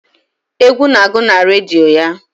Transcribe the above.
Egwu na-agụ na redio ya.